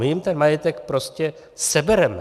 My jim ten majetek prostě sebereme.